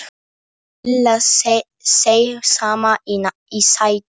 Lilla seig saman í sætinu.